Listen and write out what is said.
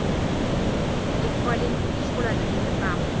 Bu ‘ekvivalent plyus’ bo‘ladi”, deydi Tramp.